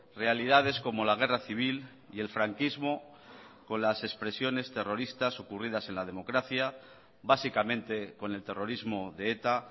realidades como la guerra civil y el franquismo con las expresiones terroristas ocurridas en la democracia básicamente con el terrorismo de eta